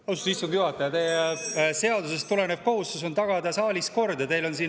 Austatud istungi juhataja, teie seadusest tulenev kohustus on tagada saalis kord, aga teil on siin …